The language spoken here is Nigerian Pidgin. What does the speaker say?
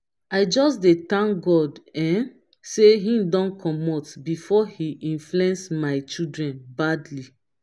i just dey thank god um say he don comot before he influence my children badly